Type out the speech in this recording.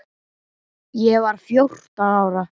Ég var fjórtán ára.